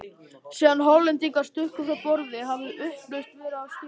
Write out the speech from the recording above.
Síðan Hollendingarnir stukku frá borði, hafði upplausn verið á skipinu.